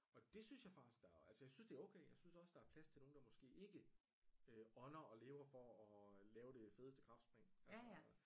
Og det synes jeg faktisk der altså jeg synes det er okay jeg synes også der er plads til nogle der måske ikke øh ånder og lever for og lave det fedeste kraftspring altså